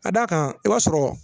Ka d'a kan i b'a sɔrɔ